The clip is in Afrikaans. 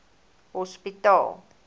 hospitaal